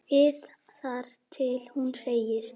ið þar til hún segir